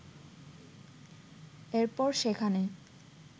এরপর সেখানে